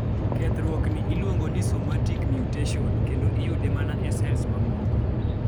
kethruok ni iluongo ni somatic mutation kendo iyude mana e sels mamoko